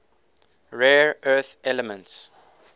rare earth elements